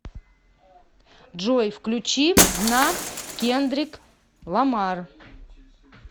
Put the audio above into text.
джой включи дна кендрик ламар